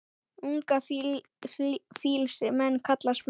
Unga fýls menn kalla smið.